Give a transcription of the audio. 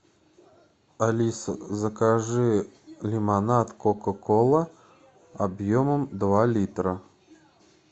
алиса закажи лимонад кока кола объемом два литра